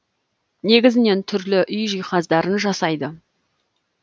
негізінен түрлі үй жиһаздарын жасайды